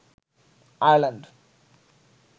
Ireland